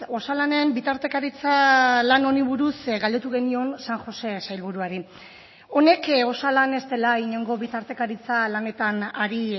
osalanen bitartekaritza lan honi buruz galdetu genion san josé sailburuari honek osalan ez dela inongo bitartekaritza lanetan ari